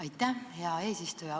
Aitäh, hea eesistuja!